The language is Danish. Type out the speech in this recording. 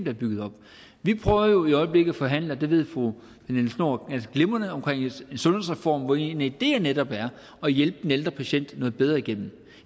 er bygget op vi prøver jo i øjeblikket at forhandle og det ved fru pernille schnoor ganske glimrende om en sundhedsreform hvori en af ideerne netop er at hjælpe den ældre patient noget bedre igennem